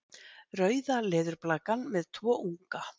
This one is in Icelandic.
Rauða leðurblakan með tvo unga.